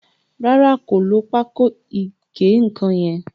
Ràrá kò ló Pákò ìgé-nǹkan yén.